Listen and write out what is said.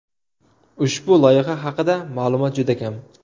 Ushbu loyiha haqida ma’lumot juda kam.